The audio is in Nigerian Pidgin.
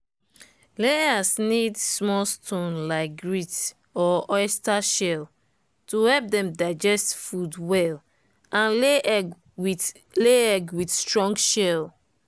layers need small stone like grit or oyster shell to help dem digest food well and lay egg with lay egg with strong shell.